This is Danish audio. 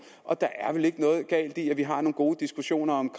og der er vel ikke noget galt i at vi har nogle gode diskussioner om